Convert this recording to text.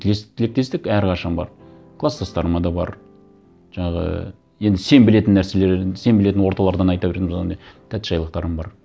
тілектестік әрқашан бар кластастарыма да бар жаңағы енді сен білетін нәрселер енді сен белетін орталардан айта беретініміз одан не тәттішайлықтарым бар